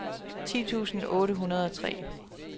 ti tusind otte hundrede og tre